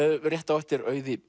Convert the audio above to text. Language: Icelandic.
rétt á eftir Auði